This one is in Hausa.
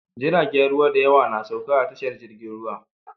Jiragen ruwa dayawa na sauka a tashar jirgin ruwa